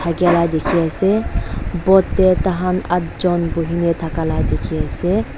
thakiala dikhi ase boat te taikhan adjun buhine thakia la dikhi ase.